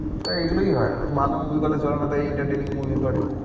তাই এই গুলোই হয় ভালো movie গুলো চলে না তাই entertaining movie করে।